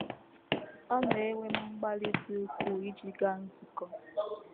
Ọ na - ewe m mgbalị dị ukwuu iji gaa nzukọ. ”